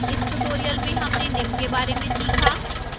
इस tutorial में हमने निम्न के बारे में सीखा: